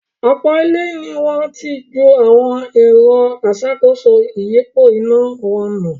Ọ̀pọ̀ ilé ní wọ́n ti ju awọn “ẹ̀rọ aṣàkóso ìyípo iná” wọn nù.